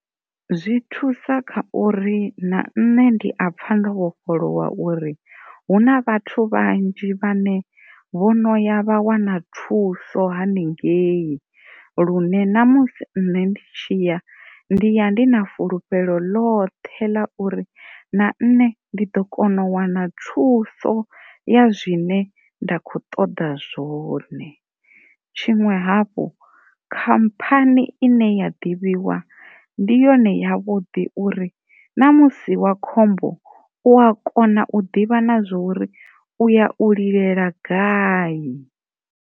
Zwi thusa kha uri na nṋe ndi a pfha ndo vhofholowa uri hu na vhathu vhanzhi vhane vho no ya vha wana thuso haningei lune na musi nṋe ndi tshi ya ndi ya ndi na fhulufhelo ḽoṱhe ḽa uri na nṋe ndi ḓo kona u wana thuso ya zwine nda kho ṱoḓa zwone, tshiṅwe hafhu khammphani ine ya ḓivhiwa ndi yone ya vhuḓi uri na musi wa khombo u ya kona u ḓivha na zwori u ya u lilela gai.